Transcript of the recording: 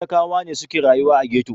Talakawa ne suke rayuwa a ghetto.